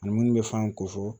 Ani munnu bɛ fan ko fɔ